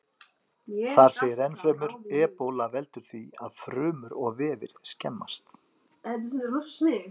Þar segir ennfremur: Ebóla veldur því að frumur og vefir skemmast.